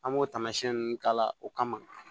An b'o taamasiyɛn nunnu k'a la o kama